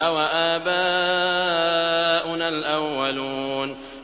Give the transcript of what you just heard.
أَوَآبَاؤُنَا الْأَوَّلُونَ